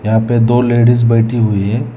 यहां पे दो लेडीज बैठी हुई है।